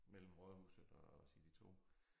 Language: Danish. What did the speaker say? Mellem rådhuset og City2